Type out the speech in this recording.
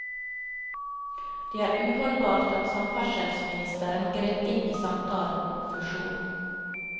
Det er uholdbart at samferdselsministeren grep inn i samtalen om fusjon.